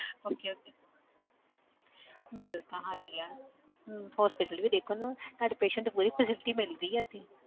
Okay okay bill ਤਾਂ high ਹੈ ਹਮ hospital ਵੀ ਦੇਖੋ ਨਾ ਤੁਹਾਡੇ patient ਨੂੰ ਪੂਰੀ facility ਮਿਲ ਰਹੀ ਹੈ ਇੱਥੇ